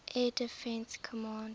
air defense command